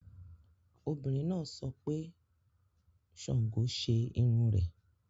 Obìnrin náà sọ pé Sango ṣe irun rẹ̀